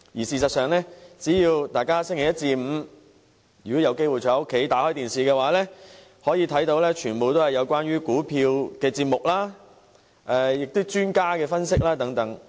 事實上，大家只要有機會在星期一至星期五在家收看電視，便會看到全部節目皆與股票有關，以及有專家作出分析等。